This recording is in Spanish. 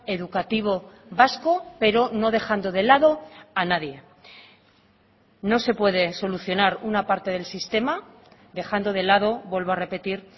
educativo vasco pero no dejando de lado a nadie no se puede solucionar una parte del sistema dejando de lado vuelvo a repetir